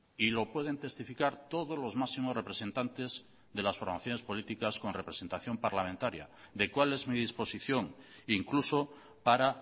y lo pueden testificar todos los máximos representantes de las formaciones políticas con representación parlamentaria de cuál es mi disposición incluso para